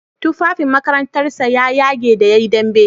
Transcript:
Tufafin makarantar sa ya yage da yayi dambe.